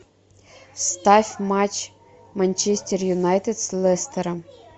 ставь матч манчестер юнайтед с лестером